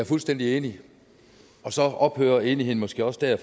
fuldstændig enig men så ophører enigheden måske også der